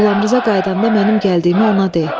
Qulamriza qayıdanda mənim gəldiyimi ona de.